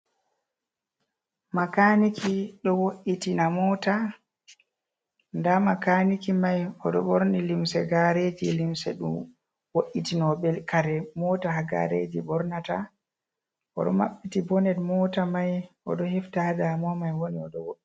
Makaaniki ɗo wo’itina moota, ndaa makaaniki mai oɗo ɓorni limse gaareeji, limse ɗo wo’itinoɓe kare moota ha gaareeji ɓornata, o ɗo maɓɓti boned moota mai oɗo hefta ha damuwa mai woni o ɗo woɗi.